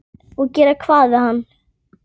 Og gera hvað við hann?